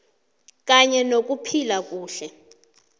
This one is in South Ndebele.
kanye nokuphila kuhle